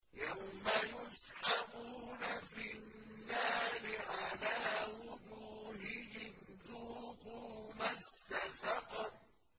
يَوْمَ يُسْحَبُونَ فِي النَّارِ عَلَىٰ وُجُوهِهِمْ ذُوقُوا مَسَّ سَقَرَ